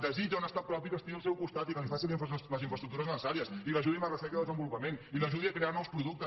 desitja un estat propi que estigui al seu costat i que li faci les infraestructures necessàries i l’ajudi en la recerca i el desenvolupament i l’ajudi a crear nous productes